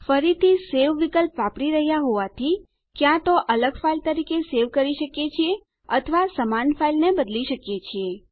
ફરીથી સવે વિકલ્પ વાપરી રહ્યા હોવાથી ક્યાં તો અલગ ફાઇલ તરીકે સેવ કરી શકીએ છીએ અથવા સમાન ફાઇલને બદલી શકીએ છીએ